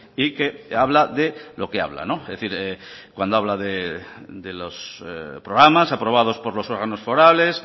y que habla de lo que habla es decir cuando habla de los programas aprobados por los órganos forales